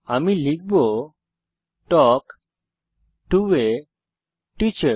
আমি লিখব talk to A teacher